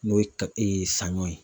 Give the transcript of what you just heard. N'o ye saɲɔ ye.